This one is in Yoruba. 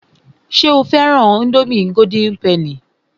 Ṣé o fẹ́ran ińdómì golden penny?